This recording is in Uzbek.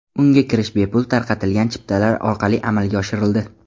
Unga kirish bepul tarqatilgan chiptalar orqali amalga oshirildi.